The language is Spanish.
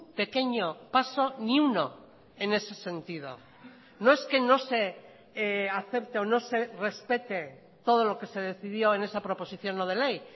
pequeño paso ni uno en ese sentido no es que no se acepte o no se respete todo lo que se decidió en esa proposición no de ley